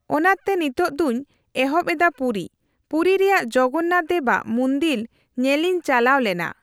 ᱚᱱᱟᱛᱮ ᱱᱤᱛᱳᱝ ᱫᱩᱧ ᱮᱦᱚᱵ ᱮᱫᱟ ᱯᱩᱨᱤ᱾ ᱯᱩᱨᱤ ᱨᱮᱭᱟᱜ ᱡᱚᱜᱚᱱᱱᱟᱛᱷ ᱫᱮᱵ ᱟᱜ ᱢᱚᱱᱫᱤᱞ ᱧᱮᱞᱤᱧ ᱪᱟᱞᱟᱣ ᱞᱮᱱᱟ᱾